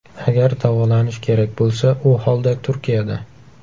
Agar davolanish kerak bo‘lsa, u holda Turkiyada!